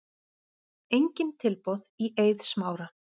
Engin tilboð í Eið Smára